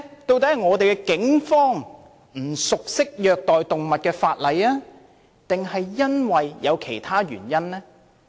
究竟是警方不熟悉虐待動物的法例，抑或有其他原因？